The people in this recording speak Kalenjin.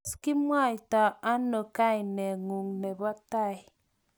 tos kimwaitano kaineng'ung' nebo tai?